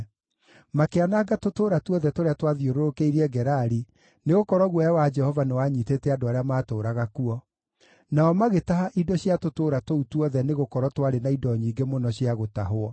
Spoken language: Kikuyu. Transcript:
Makĩananga tũtũũra tuothe tũrĩa twathiũrũrũkĩirie Gerari, nĩgũkorwo guoya wa Jehova nĩwanyiitĩte andũ arĩa matũũraga kuo. Nao magĩtaha indo cia tũtũũra tũu tuothe nĩgũkorwo twarĩ na indo nyingĩ mũno cia gũtahwo.